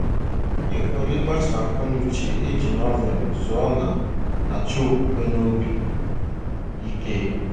Ịhọrọ ịgbaso akọ na uche e ji Novel zụọ na - achọ okwukwe na obi ike.